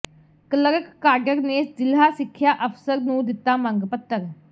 clerk cadre ਨੇ ਜ਼ਿਲ੍ਹਾ ਸਿੱਖਿਆ ਅਫ਼ਸਰ ਨੂੰ ਦਿੱਤਾ ਮੰਗ ਪੱਤਰ